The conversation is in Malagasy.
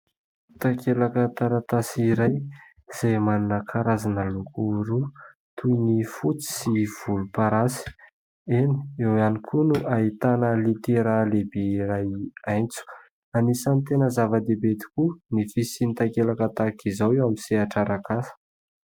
Takelaka taratasy iray ; izay manana karazana loko roa : toy ny fotsy sy volom-parasy. Eny, eo ihany koa no ahitana litera lehibe iray aintso. Anisany tena zava-dehibe tokoa ny fisian'ny takelaka tahaka izao eo amin'ny sehatra arak'asa.